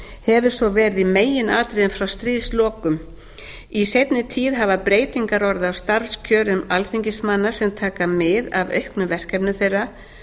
hefur svo verið í meginatriðum frá stríðslokum í seinni tíð hafa breytingar orðið á starfskjörum alþingismanna sem taka mið af auknum verkefnum þeirra